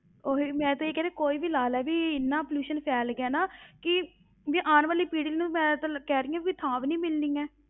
ਉਹੀ ਮੈਂ ਤੇ ਇਹ ਕਹਿ ਰਹੀ ਕੋਈ ਵੀ ਲਾ ਲੈੈ ਵੀ ਇੰਨਾ pollution ਫੈਲ ਗਿਆ ਨਾ ਕਿ ਵੀ ਆਉਣ ਵਾਲੀ ਪੀੜ੍ਹੀ ਨੂੰ ਮੈਂ ਤੇ ਕਹਿ ਰਹੀ ਹਾਂ ਵੀ ਥਾਂ ਵੀ ਨੀ ਮਿਲਣੀ ਹੈ।